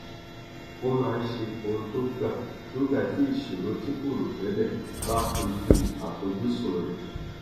ó máa ń ṣe ohun tó gbà nígbà tí ìṣòro tí kò rò tẹlẹ bá kojú àfojúsùn rẹ